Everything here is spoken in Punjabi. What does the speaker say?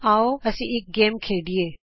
ਆਉ ਹੁਣ ਅਸੀਂ ਇਕ ਗੇਮ ਖੇਡੀਏ